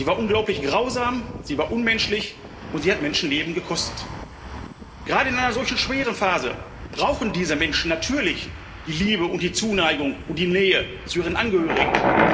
Sie war unglaublich grausam, sie war unmenschlich, und sie hat Menschenleben gekostet. Gerade in einer solchen schweren Phase brauchen diese Menschen natürlich die Liebe und die Zuneigung und die Nähe zu ihren Angehörigen.